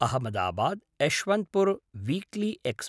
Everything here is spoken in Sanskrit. Ahmedabad Yesvantpur weekly X